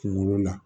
Kunkolo la